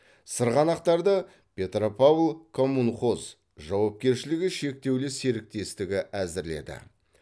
сырғанақтарды петропавл коммунхоз жауапкершілігі шектеулі серіктестігі әзірледі